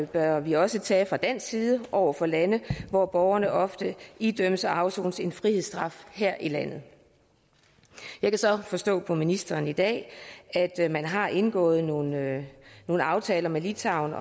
bør vi også tage fra dansk side over for lande hvor borgerne ofte idømmes og afsoner en frihedsstraf her i landet jeg kan så forstå på ministeren i dag at man har indgået nogle nogle aftaler med litauen